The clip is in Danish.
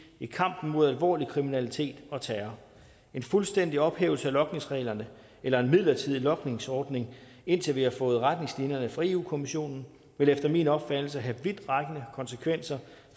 i kampen mod alvorlig kriminalitet og terror en fuldstændig ophævelse af logningsreglerne eller en midlertidig logningsordning indtil vi har fået retningslinjerne fra europa kommissionen vil efter min opfattelse have vidtrækkende konsekvenser